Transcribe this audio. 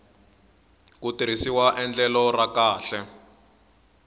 ku tirhisiwa endlelo ra kahle